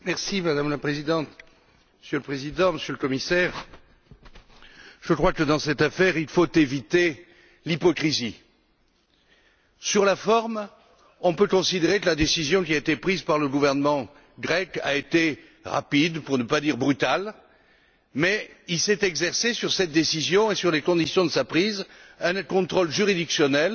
Madame la Présidente, Monsieur le Président, Monsieur le Commissaire, je crois que, dans cette affaire, il faut éviter l'hypocrisie. Sur la forme, on peut considérer que la décision qui a été prise par le gouvernement grec a été rapide, pour ne pas dire brutale, mais il s'est exercé sur cette décision et sur les conditions de sa prise un contrôle juridictionnel